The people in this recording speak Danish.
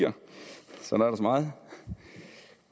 der så meget